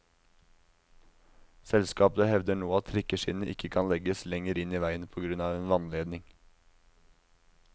Selskapet hevder nå at trikkeskinnene ikke kan legges lenger inn i veien på grunn av en vannledning.